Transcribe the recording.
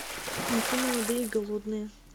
найти молодые и голодные